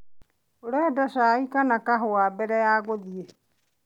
ũrenda cai kana kahũa mbere ya gũthie?